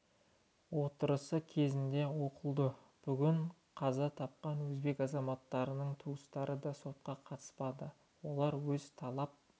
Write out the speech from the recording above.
отырысы кезінде оқылды бүгін қаза тапқан өзбек азаматтарының туыстары да сотқа қатыспады олар өз талап